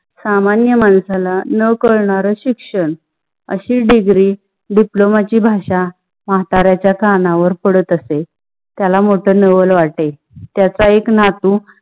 सामान्य माणसाला न कळणार शिक्षण, अशी degree diploma ची भाषा म्हाताऱ्याच्या कानवर पडत असेल, त्याला मोठा नवल वाटे. त्याच्या एक नातू